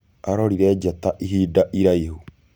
Arorire njata ihinda iraihu.